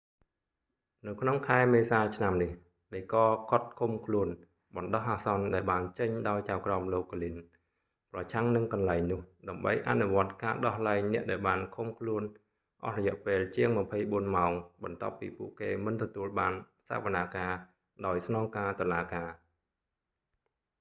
នៅក្នុងខែមេសាឆ្នាំនេះ ដីកឃាត់ឃុំខ្លួនបណ្តោះអាសន្នដែលបានចេញដោយចៅក្រមលោក ហ្គ្លីន glynn ប្រឆាំងនឹងកន្លែងនោះដើម្បីអនុវត្តការដោះលែងអ្នកដែលបានឃុំខ្លួនអស់រយៈពេលជាង 24 ម៉ោងបន្ទាប់ពីពួកគេមិនទទួលបានសវនាការដោយស្នងការតុលាការ